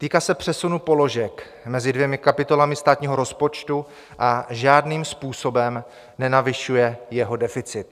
Týká se přesunu položek mezi dvěma kapitolami státního rozpočtu a žádným způsobem nenavyšuje jeho deficit.